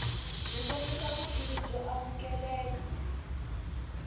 byi kombisa vutivi byo amukeleka